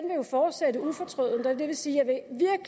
jo fortsætte ufortrødent jeg vil sige at